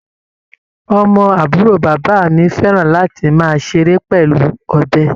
Ọmọ àbúrò bàbá mi fẹ́ràn láti máa ṣeré pẹ̀lú ọ̀bẹ.